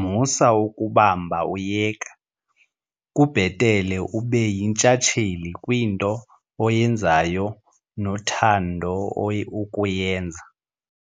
Musa ukubamba uyeka, kubhetele ube yintshatsheli kwinto oyenzayo nothando ukuyenza.